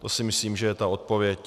To si myslím, že je ta odpověď.